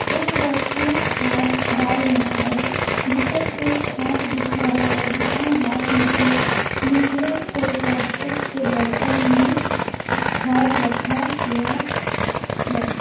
एक व्यक्ति खाद डाल रहा है जिसे सिर्फ हाथ दिख रहा है जिसने हाथ में एक नीले से प्लास्टिक के बर्तन में खाद रखा हुआ है।